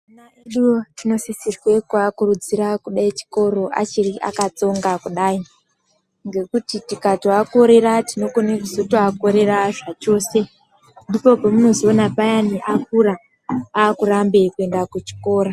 Ana edu tinosisirwe kuakurudzire kude chikoro achiri akatsonga kudai ngekuti tikatoakorera tinokone kuzotoakorera zvachose, ndipo pemunozoona payani akura akurambe kuenda kuchikora.